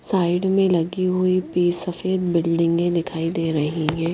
Side में लगी हुई पीस सफेद बिल्डिंगें दिखाई दे रही है।